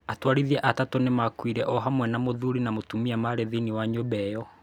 Atwarithia atatũ nĩ maakuire, o hamwe na mũthuri na mũtumia maarĩ thĩinĩ wa nyũmba ĩyo.